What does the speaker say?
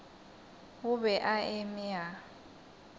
o be a eme a